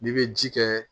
N'i bɛ ji kɛ